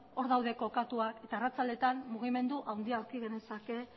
hor daude kokatuak eta arratsaldetan mugimendu handia aurki genezake